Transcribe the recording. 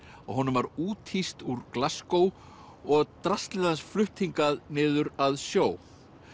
að honum var úthýst úr og draslið hans flutt hingað niður að sjó